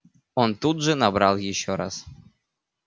он тут же набрал ещё раз